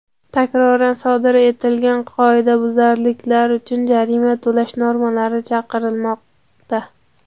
takroran sodir etilgan qoidabuzarliklar uchun jarima qo‘llash normalari chiqarilmoqda.